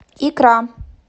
икра